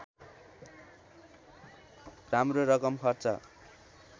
राम्रो रकम खर्च